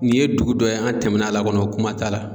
Nin ye dugu dɔ ye, an tɛmɛn'a la kɔni o kuma t'a la